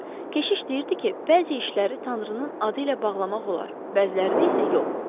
Keşiş deyirdi ki, bəzi işləri Tanrının adı ilə bağlamaq olar, bəzilərini isə yox.